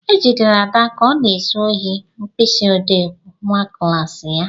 E jidere Ada ka ọ na-ezu ohi mkpịsị ọdee nwa klassị ya.